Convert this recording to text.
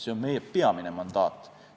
See on meie peamine mandaat.